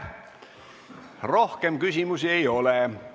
Rohkem küsimusi ei ole.